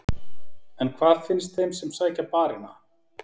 En hvað finnst þeim sem sækja barina?